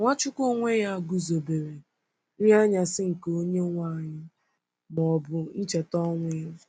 Nwachukwu onwe ya guzobere “ nri anyasị nke Onyenwe anyị, ” ma ọ bụ ncheta ọnwụ ya.